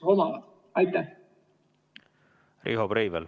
Riho Breivel, palun!